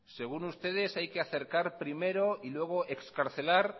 según ustedes hay que acercar primero y luego excarcelar